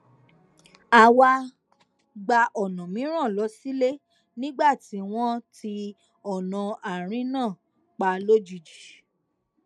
a wá gba ònà mìíràn lọ sílé nígbà tí wón ti ònà àárín náà pa lójijì